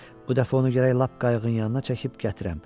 Bu dəfə onu gərək lap qayığın yanına çəkib gətirəm.